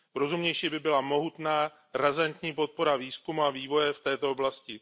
Rozumnější by byla mohutná razantní podpora výzkumu a vývoje v této oblasti.